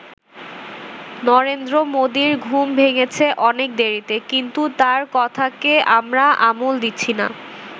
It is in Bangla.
নরেন্দ্র মোদীর ঘুম ভেঙেছে অনেক দেরিতে, কিন্ত তার কথাকে আমরা আমল দিচ্ছি না।